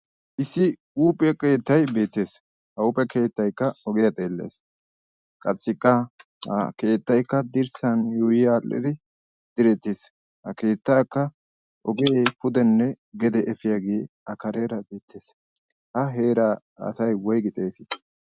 Issi huuphphe keettay beettees. Ha huuphphe keettaykka ogiyaa xeelles. Qassikka ha keettay dirssan yuuyi aadhdhidi diretiis. Ha Keettakka ogee pudenne duge efiyaage a kareera aattees. Ha heeraa asay woyfgi xeessi?